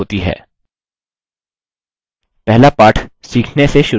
पहला पाठ सीखने से शुरू करें